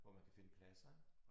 Hvor man kan finde pladser ik